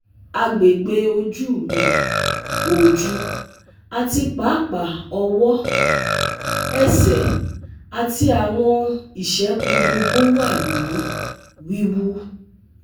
Agbegbe oju mi, oju, ati paapaa ọwọ, ẹsẹ ati awọn isẹpo gbogbo wa ni wiwu